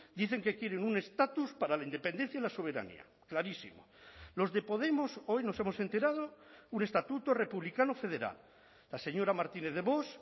dicen que quieren un estatus para la independencia y la soberanía clarísimo los de podemos hoy nos hemos enterado un estatuto republicano federal la señora martínez de vox